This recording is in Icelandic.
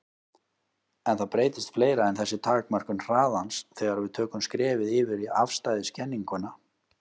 En það breytist fleira en þessi takmörkun hraðans þegar við tökum skrefið yfir í afstæðiskenninguna.